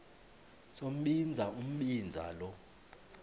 sombinza umbinza lo